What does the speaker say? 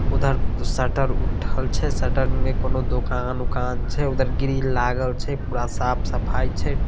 उधर शटर उठल छै शटर में कोनो दुकान-उकान छै उधर ग्रिल लागल छै पूरा साफ-सफाई छै।